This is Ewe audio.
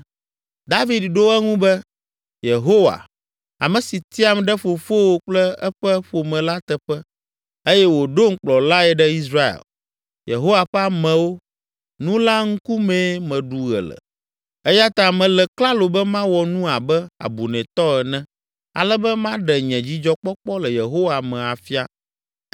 David ɖo eŋu be, “Yehowa, ame si tiam ɖe fofowò kple eƒe ƒome la teƒe eye wòɖom kplɔlae ɖe Israel, Yehowa ƒe amewo, nu la ŋkumee meɖu ɣe le! Eya ta mele klalo be mawɔ nu abe abunɛtɔ ene ale be maɖe nye dzidzɔkpɔkpɔ le Yehowa me afia.